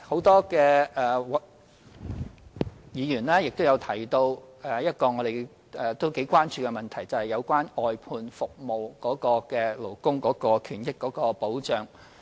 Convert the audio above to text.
多位議員亦提到另一廣為關注的問題，就是外判服務的勞工權益和保障。